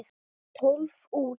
Tólf út.